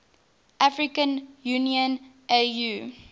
african union au